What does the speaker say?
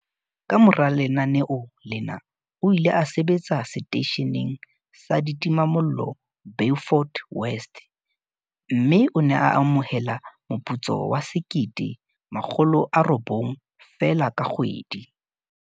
Kamora lenaneo lena o ile a sebetsa seteisheneng sa ditimamollo Beaufort West, mme o ne a amohela moputso wa R1 900 feela ka kgwedi.